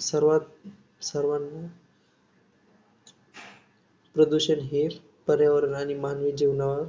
सर्वांत सर्वांनी प्रदूषण हे पर्यावरण आणि मानवी जीवनावर